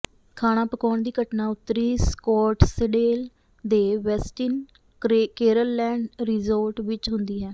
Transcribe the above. ਖਾਣਾ ਪਕਾਉਣ ਦੀ ਘਟਨਾ ਉੱਤਰੀ ਸਕੋਟਸਡੇਲ ਦੇ ਵੈਸਟਿਨ ਕੇਰਲਲੈਂਡ ਰਿਜੋਰਟ ਵਿੱਚ ਹੁੰਦੀ ਹੈ